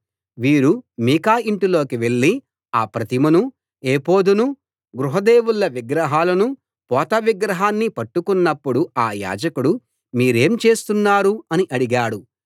వీరు మీకా యింటిలోకి వెళ్ళి ఆ ప్రతిమనూ ఎఫోదునూ గృహ దేవుళ్ళ విగ్రహాలనూ పోత విగ్రహాన్నీ పట్టుకున్నప్పుడు ఆ యాజకుడు మీరేం చేస్తున్నారు అని అడిగాడు